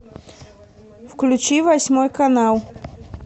включи восьмой канал